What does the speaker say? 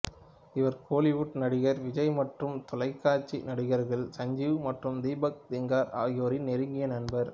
இவர் கோலிவுட் நடிகர் விஜய் மற்றும் தொலைக்காட்சி நடிகர்கள் சஞ்சீவ் மற்றும் தீபக் திங்கர் ஆகியோரின் நெருங்கிய நண்பர்